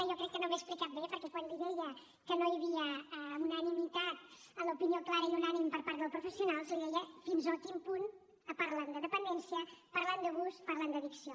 jo crec que no m’he explicat bé perquè quan li deia que no hi havia unanimitat en l’opinió clara i unànime per part dels professionals li deia fins a quin punt parlen de dependència parlen d’abús parlen d’addicció